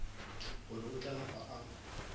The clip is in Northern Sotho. gore o tla napa a